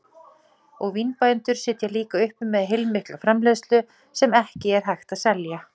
Og vínbændur sitja líka uppi með heilmikla framleiðslu sem ekki er hægt að selja.